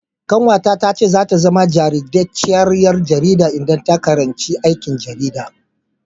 Ƙanwarta ta ce zata zama jajirtacciyar ƴar jarida idan ta karanci aikin jarida.